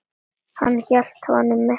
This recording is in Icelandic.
Hann hélt honum uppað sér.